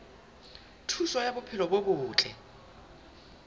thuso ya bophelo bo botle